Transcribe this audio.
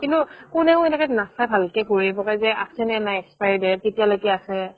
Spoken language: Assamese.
কিন্তু কুনে এনেকে নাচাই ভালেকে ঘুৰাই পকাই যে আছে নে নাই expiry date কেতিয়া লৈকে আছে